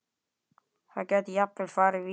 Það gæti jafnvel farið víða.